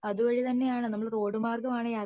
അതുവഴി തന്നെ ആണ് നമ്മൾ റോഡുമാർഗം ആണ്